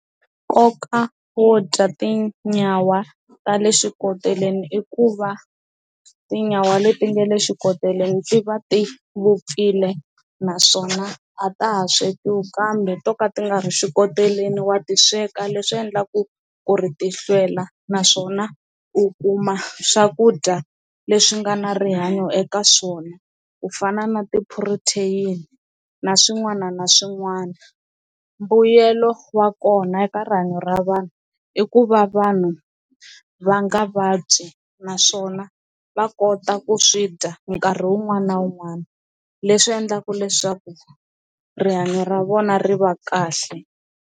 Nkoka wo dya tinyawa ta le xikoteleni i ku va tinyawa leti nga le xikoteleni ndzi va ti vupfile naswona a ta ha swekiwe kambe to ka ti nga ri xikoteleni wa ti sweka leswi endlaku ku ri ti hlwela naswona u kuma swakudya leswi nga na rihanyo eka swona ku fana na ti-protein na swin'wana na swin'wana. Mbuyelo wa kona eka rihanyo ra vanhu i ku va vanhu va nga vabyi naswona va kota ku swi dya nkarhi wun'wana na wun'wana leswi endlaka leswaku rihanyo ra vona ri va kahle.